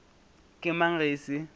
ke mang ge e se